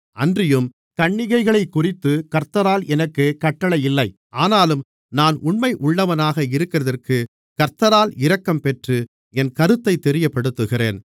அன்றியும் கன்னிகைகளைக்குறித்து கர்த்தரால் எனக்குக் கட்டளை இல்லை ஆனாலும் நான் உண்மையுள்ளவனாக இருக்கிறதற்குக் கர்த்தரால் இரக்கம் பெற்று என் கருத்தைத் தெரியப்படுத்துகிறேன்